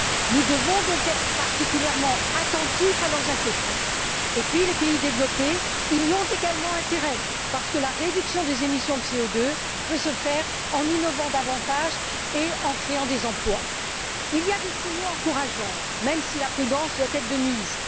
Nous devons donc être particulièrement attentifs à leurs inquiétudes. Les pays développés y ont également intérêt parce que la réduction des émissions de CO 2 peut se faire en innovant davantage et en créant des emplois. Il y a des signaux encourageants, même si la prudence doit être de mise.